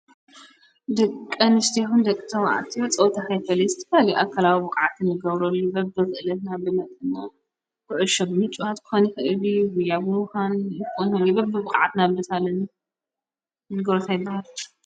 ድቀ አንስትዮ ደቅ ተባዐትዮን ጸውታ ዘይፈሊ ኣካላዊ ብቕዓተን ይገብረሉ በብደ ዘእለትና ብመጥና ጕዑሾ ብሚጭዋት ጉያ ክኮኒ ይክእል እዩ። ብሞዮኦም ምዃን ይምደብን በብቕዓት ናብ ነገልፀሉ ነገራት ፀወታ ይባሃል እዮብ።